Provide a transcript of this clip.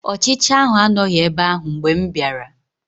Ọchicha ahụ anọghị ebe ahụ mgbe m bịara